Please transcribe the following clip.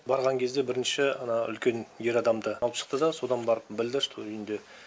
барған кезде бірінші ана үлкен ер адамды алып шықты да содан барып білді что үйінде